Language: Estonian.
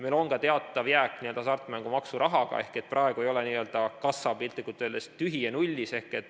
Meil on ka teatav jääk hasartmängumaksu rahast ehk praegu ei ole n-ö kassa piltlikult öeldes tühi ja nullis.